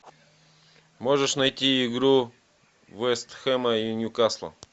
можешь найти игру вест хэма и ньюкасла